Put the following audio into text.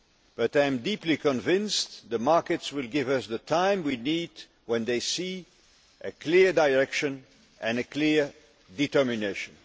But I am deeply convinced the markets will give us the time we need when they see a clear direction and a clear determination.